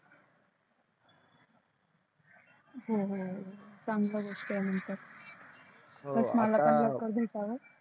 हम्म चांगल गोष्ट आहे हा त्यात मला लवकर भेटाव आता